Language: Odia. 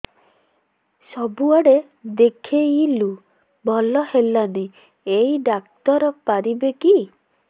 ସବୁଆଡେ ଦେଖେଇଲୁ ଭଲ ହେଲାନି ଏଇ ଡ଼ାକ୍ତର ପାରିବେ କି